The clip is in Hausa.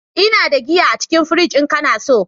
Ina da giya a cikin fridge in kana so.